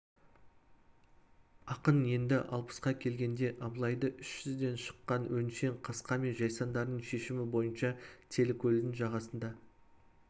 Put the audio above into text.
ақын енді алпысқа келген абылайды үш жүзден шыққан өңшең қасқа мен жайсаңдарының шешімі бойынша телікөлдің жағасында